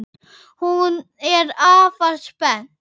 Hún er afar spennt.